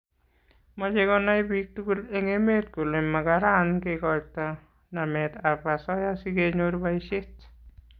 Mache konai piiktugul eng' emet kole makaran kekoitoi namet ab asoya si kenyor boishet